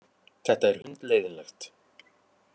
Þetta er hundleiðinlegt.